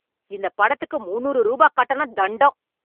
இந்த படத்துக்கு முன்னூறு ரூபா கட்டணம் தண்டம்.